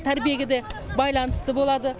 тәрбиеге де байланыста болады